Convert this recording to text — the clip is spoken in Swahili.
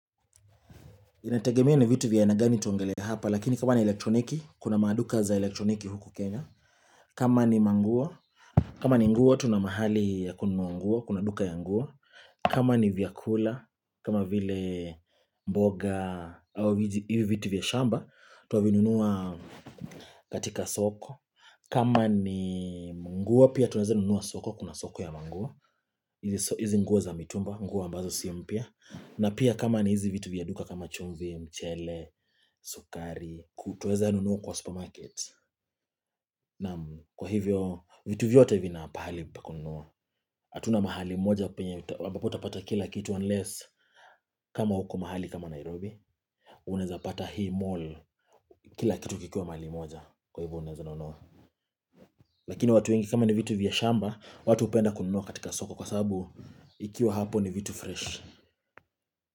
Inategemea ni vitu vya aina gani tuongelee hapa lakini kama ni elektroniki kuna maduka za elektroniki huku Kenya kama ni manguo kama ni nguo tuna mahali ya kununua nguo kuna duka ya nguo kama ni vyakula kama vile mboga au vitu vya shamba twavinunua katika soko kama ni nguo pia tunaeza nunua soko kuna soko ya manguo hizi nguo za mitumba, nguo ambazo si mpya. Na pia kama ni hizi vitu vya duka kama chumvi, mchele, sukari. Twaeza nunua kwa supermarket. Naam kwa hivyo, vitu vyote vina pahali pa kununua. Hatuna mahali moja penye, ambapo utapata kila kitu, unless kama uko mahali kama Nairobi. Unaeza pata hii mall, kila kitu kikiwa mahali moja. Kwa hivyo unaeza nunua Lakini watu wengi kama ni vitu vya shamba, watu hupenda kununua katika soko. Kwa sabu, ikiwa hapo ni vitu fresh.